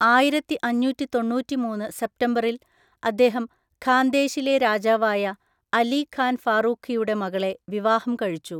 ആയിരത്തിഅഞ്ഞൂറ്റിതൊണ്ണൂറ്റിമൂന്ന് സെപ്തംബറിൽ അദ്ദേഹം ഖാന്ദേശിലെ രാജാവായ അലി ഖാൻ ഫാറൂഖിയുടെ മകളെ വിവാഹം കഴിച്ചു.